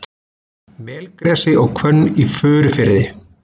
Melgresi og hvönn í Furufirði.